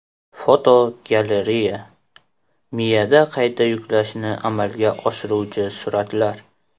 Fotogalereya: Miyada qayta yuklashni amalga oshiruvchi suratlar.